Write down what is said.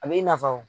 A b'i nafa wo